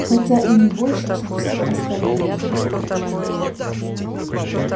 хотя и не больше чем всё остальное